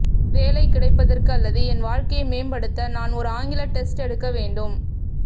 வேலை கிடைப்பதற்கு அல்லது என் வாழ்க்கையை மேம்படுத்த நான் ஒரு ஆங்கில டெஸ்ட் எடுக்க வேண்டும்